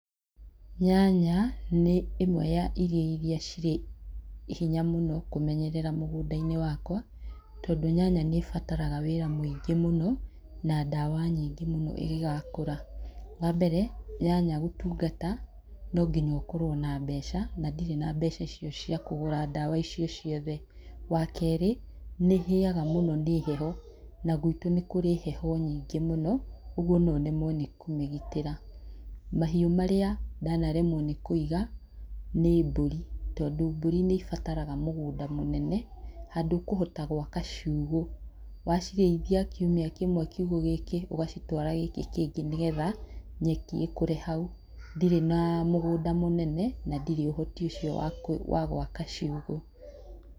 Nyanya nĩ ĩmwe ya irio iria cirĩ hinya mũno kũmenyerera mũgũnda-inĩ wakwa, tondũ nyanya nĩ bataraga wĩra mũingĩ mũno na ndawa nyingĩ mũno ĩngĩgakũra. Wa mbere nyanya gũtungata no nginya ũkorwo na mbeca, na ndirĩ na mbeca icio cia kũgũra ndawa icio ciothe. Wa kerĩ nĩ ĩhĩaga mũno nĩ heho na guitũ nĩ kũrĩ heho nyingĩ mũno ũguo no nemwo nĩ kũmĩgĩtira. ‎Mahiũ marĩa ndanaremwo nĩ kũiga nĩ mbũri, tondũ mbũri nĩ ibataraga mũgũnda mũnene handũ ũkũhota gwaka ciugũ, wacirĩithia kiumia kĩmwe kiugũ gĩkĩ ũgacitwara gĩkĩ kĩngĩ nĩ getha nyeki ĩkũre hau, ndirĩ na mũgũnda mũnene na ndirĩ ũhoti ũcio wa gwaka ciugũ.